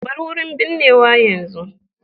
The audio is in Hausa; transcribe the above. Bar wurin binnewa yanzu.